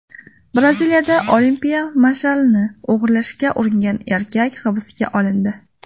Braziliyada olimpiya mash’alini o‘g‘irlashga uringan erkak hibsga olindi.